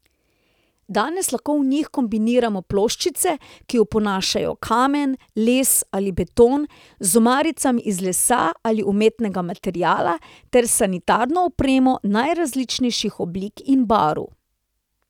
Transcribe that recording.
Danes lahko v njih kombiniramo ploščice, ki oponašajo kamen, les ali beton, z omaricami iz lesa ali umetnega materiala ter s sanitarno opremo najrazličnejših oblik in barv.